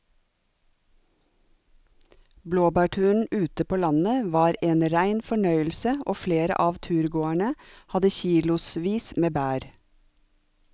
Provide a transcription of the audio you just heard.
Blåbærturen ute på landet var en rein fornøyelse og flere av turgåerene hadde kilosvis med bær.